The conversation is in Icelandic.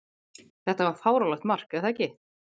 Þetta var fáránlegt mark, er það ekki?